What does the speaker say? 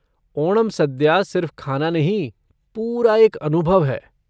ओणम सद्या सिर्फ़ खाना नहीं, पूरा एक अनुभव है।